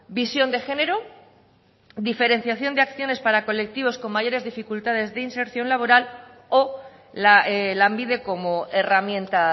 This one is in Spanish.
visión de género diferenciación de acciones para colectivos con mayores dificultades de inserción laboral o lanbide como herramienta